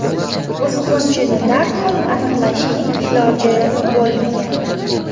Buzg‘unchini darhol aniqlashning iloji bo‘lmagan.